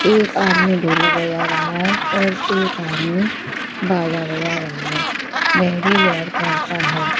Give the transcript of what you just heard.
एक आदमी ढोलक बजा रहा है और एक आदमी बाजा बजा रहा है वह भी रेड कलर का है।